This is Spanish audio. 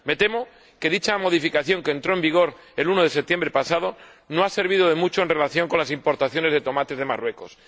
Me temo que dicha modificación, que entró en vigor el 1 de septiembre pasado, no ha servido de mucho en relación con las importaciones de tomates de Marruecos.